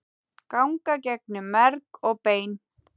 ganga gegnum merg og bein